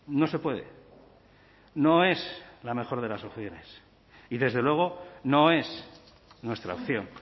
no se puede no es la mejor de las opciones y desde luego no es nuestra opción